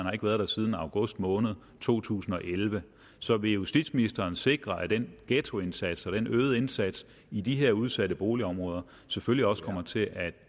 har været der siden august måned to tusind og elleve så vil justitsministeren sikre at den ghettoindsats og den øgede indsats i de her udsatte boligområder selvfølgelig også kommer til at